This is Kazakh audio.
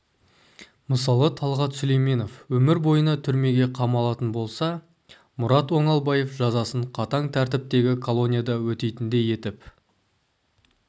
мысалы талғат сүлейменов өмір бойына түрмеге қамалатын болса мұрат оңалбаев жазасын қатаң тәртіптегі колонияда өтейтіндей етіп